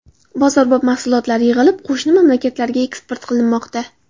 Bozorbop mahsulotlar yig‘ilib, qo‘shni mamlakatlarga eksport qilinmoqda.